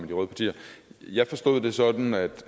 de røde partier jeg forstod det sådan at